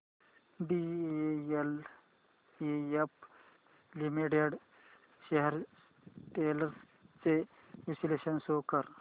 DLF limited shares trends चे विश्लेषण show कर